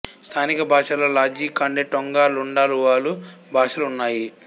స్థానిక భాషలలో Lozi Kaonde Tonga Lunda Luvale భాషలు ఉన్నాయి